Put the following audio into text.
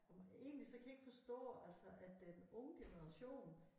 Og egentlig så kan jeg ikke forstå altså at den unge generation